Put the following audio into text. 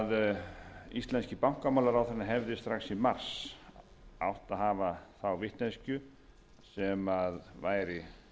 að íslenski bankamálaráðherrann hefði strax í mars átt að hafa þá vitneskju sem væri